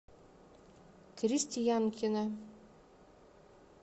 крестьянкина